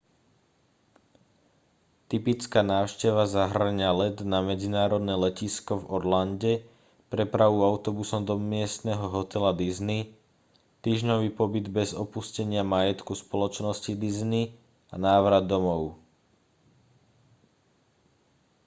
typická návšteva zahŕňa let na medzinárodné letisko v orlande prepravu autobusom do miestneho hotela disney týždňový pobyt bez opustenia majetku spoločnosti disney a návrat domov